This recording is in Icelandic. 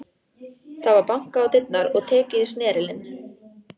Það var bankað á dyrnar og tekið í snerilinn.